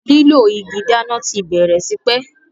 lilọ ìgi dáná tí bèrè t'ipe.